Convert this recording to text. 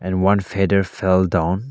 And one feather fell down.